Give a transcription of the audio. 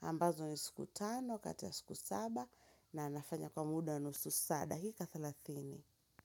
ambazo ni siku tano kati ya siku saba na nafanya kwa muda wa nusu saa dakika thelathini.